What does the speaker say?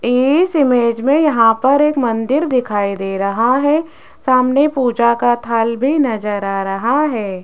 इस इमेज में यहां पर एक मंदिर दिखाई दे रहा है सामने पूजा का थाल भी नजर आ रहा है।